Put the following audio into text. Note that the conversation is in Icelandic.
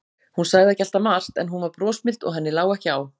Hún sagði ekki alltaf margt, en hún var brosmild og henni lá ekki á.